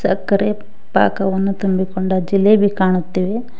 ಸಕ್ಕರೆ ಪಾಕವನ್ನು ತುಂಬಿಕೊಂಡ ಜಿಲೇಬಿ ಕಾಣುತ್ತೇವೆ.